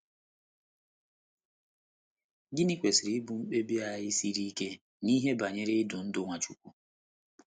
Gịnị kwesịrị ịbụ mkpebi anyị siri ike n’ihe banyere idu ndú Nwachukwu?